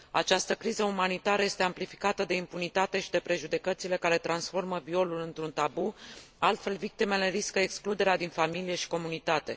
Această criză umanitară este amplificată de impunitate și de prejudecățile care transformă violul într un tabu, altfel, victimele riscă excluderea din familie și comunitate.